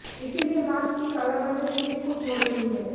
इसलिए मास्क की कालाबाजारी भी खूब हो रही है